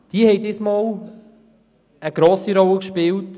Diese haben im Vorfeld der Debatte eine grosse Rolle gespielt.